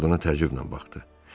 Ovod ona təəccüblə baxdı.